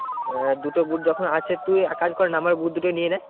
আহ দুটো boot যখন আছে তুই এক কাজ কর না আমার boot দুটো নিয়ে নে।